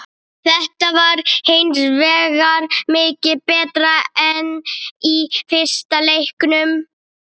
Þetta var hinsvegar mikið betra en í fyrsta leiknum.